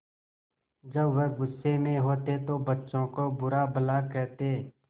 जब वह गुस्से में होते तो बच्चों को बुरा भला कहते